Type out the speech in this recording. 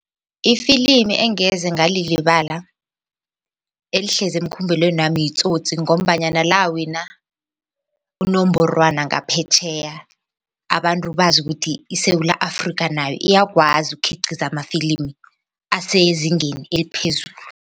Ifilimi engeze ngalilibala elihlezi emkhumbulweni wami yiTsotsi ngombanyana lawina unongorwana ngaphetjheya abantu bazi ukuthi iSewula Afrika nayo iyakwazi ukukhiqiza amafilimi asezingeni eliphezulu.